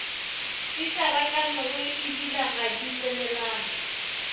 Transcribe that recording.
di šarakaneebile ga di tsenelane